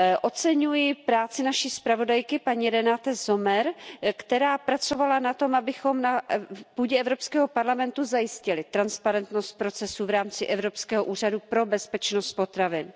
Oceňuji práci naší zpravodajky paní Renate Sommerové, která pracovala na tom, abychom na půdě Evropského parlamentu zajistili transparentnost procesu v rámci Evropského úřadu pro bezpečnost potravin.